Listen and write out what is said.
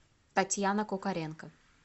татьяна кукаренко